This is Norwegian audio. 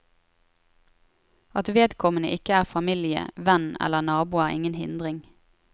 At vedkommende ikke er familie, venn eller nabo er ingen hindring.